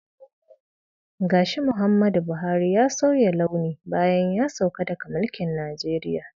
Gashi Muhammadu Buhari ya sauya launi bayan ya sauka daga mulkin Najeriya.